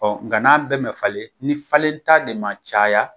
Ɔ nka n'a bɛɛ mɛn falen, ni falen ta de ma caya